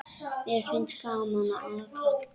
Mér finnst gaman að aka.